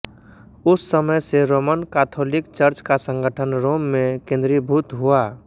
उस समय से रोमन काथोलिक चर्च का संगठन रोम में केंद्रीभूत हुआ